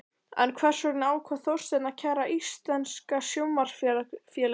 En hvers vegna ákvað Þorsteinn að kæra Íslenska Sjónvarpsfélagið?